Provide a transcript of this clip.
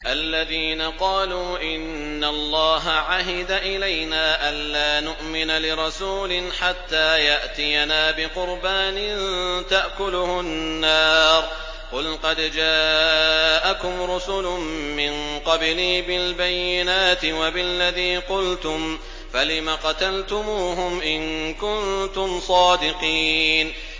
الَّذِينَ قَالُوا إِنَّ اللَّهَ عَهِدَ إِلَيْنَا أَلَّا نُؤْمِنَ لِرَسُولٍ حَتَّىٰ يَأْتِيَنَا بِقُرْبَانٍ تَأْكُلُهُ النَّارُ ۗ قُلْ قَدْ جَاءَكُمْ رُسُلٌ مِّن قَبْلِي بِالْبَيِّنَاتِ وَبِالَّذِي قُلْتُمْ فَلِمَ قَتَلْتُمُوهُمْ إِن كُنتُمْ صَادِقِينَ